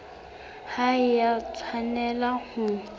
ha e a tshwanela ho